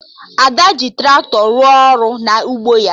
Ada ji Traktọ rụọ ọrụ na ugbo ya